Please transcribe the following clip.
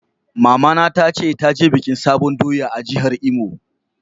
Mama na ta ce ta je bikin sabon doya a'jihar Imo.